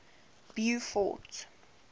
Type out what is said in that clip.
beaufort